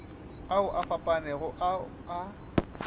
ao a fapanego ao a